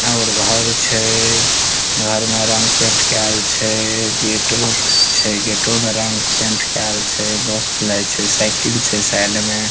बाहर मे रंग पेंट केल छै गेटो छै गेटो मे रंग पेंट केएल छै मस्त लागे छै साइकिल छै साइड मे --